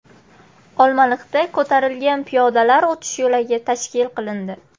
Olmaliqda ko‘tarilgan piyodalar o‘tish yo‘lagi tashkil qilindi.